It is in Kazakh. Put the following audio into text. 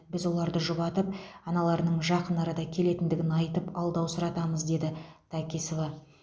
біз оларды жұбатып аналарының жақын арада келетіндігін айтып алдаусыратамыз деді такисова